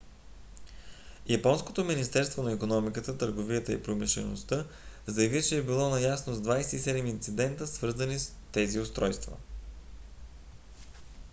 японското министерство на икономиката търговията и промишлеността мети заяви че е било наясно с 27 инцидента свързани с тези устройства